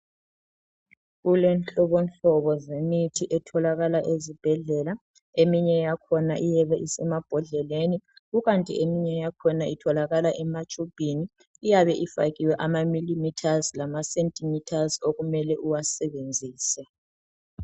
Kulenhlobo nhlobo zemithi etholakala ezibhedlela eminye yakhona iyabe isemabhodleleni kukanti eminye yakhona itholakala ematshubhini iyabe ifakiwe amamililithazi lamasentimithazi okumele uwasebenzise.